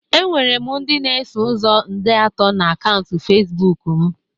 Enwere m ndị na-eso ụzọ nde atọ na akaụntụ Facibụkụ ochie m